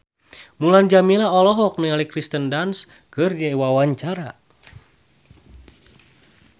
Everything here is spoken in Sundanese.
Mulan Jameela olohok ningali Kirsten Dunst keur diwawancara